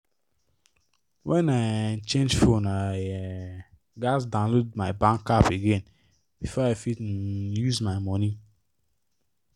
when i um change phone i um gats download my bank app again before i fit um use my money